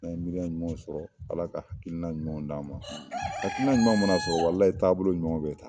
N'an ye miiriya ɲumanw sɔrɔ Ala ka hakili na ɲumanw d'an ma hakilina ɲuman mana sɔrɔ walahi taabolo ɲumanw bɛ ta.